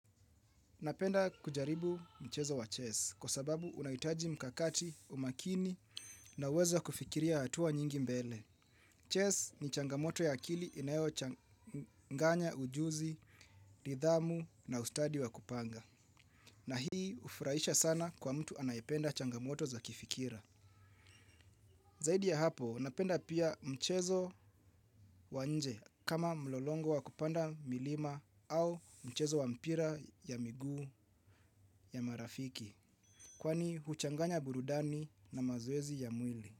Napenda kujaribu mchezo wa chess kwa sababu unahitaji mkakati, umaakini na uwezo wa kufikiria hatua nyingi mbele. Chess ni changamoto ya akili inayochanganya ujuzi nidhamu na ustadi wa kupanga. Na hii hufurahisha sana kwa mtu anayependa changamoto za kifikira. Zaidi ya hapo, napenda pia mchezo wa nje kama mlolongo wa kupanda milima au mchezo wa mpira ya miguu ya marafiki. Kwani huchanganya burudani na mazoezi ya mwili.